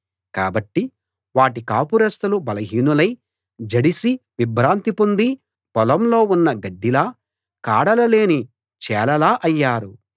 కాబట్టి వాటి కాపురస్థులు బలహీనులై జడిసి విభ్రాంతి పొంది పొలంలో ఉన్న గడ్డిలా కాడలు లేని చేలలా అయ్యారు